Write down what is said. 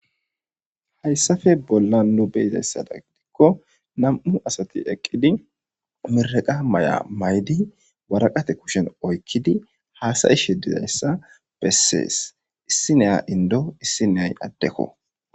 Heysapa bolan nu be'adaysa gidoko namuu asat eqid mireqa ma'i ma'id waraqate kushiyan oyqid hasayishe didaysa beses. Isniya indo isnoyi adeko.